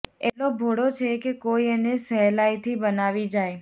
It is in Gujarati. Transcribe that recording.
એટલો ભોળો છે કે કોઈ એને સહેલાઈથી બનાવી જાય